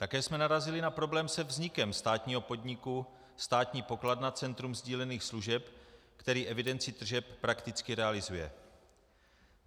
Také jsme narazili na problém se vznikem státního podniku Státní pokladna Centrum sdílených služeb, který evidenci tržeb prakticky realizuje.